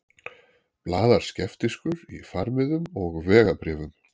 Blaðar skeptískur í farmiðum og vegabréfum.